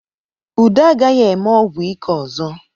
Udo agaghị eme ọgwụ ike ọzọ.